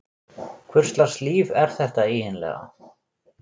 Hvurslags líf er þetta eiginlega?